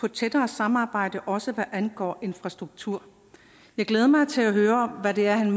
et tættere samarbejde også hvad angår infrastruktur jeg glæder mig til at høre hvad det er han